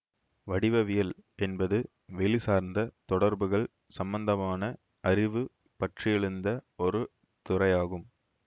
வடிவவியல் என்பது வெளிசார்ந்த தொடர்புகள் சம்பந்தமான அறிவு பற்றியெழுந்த ஒரு துறையாகும்